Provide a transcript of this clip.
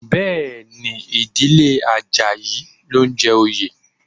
Bẹ́ẹ̀ ni, ìdílé Àjàyí ló ń jẹ oyè